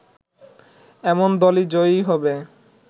এমন দলই জয়ী হবে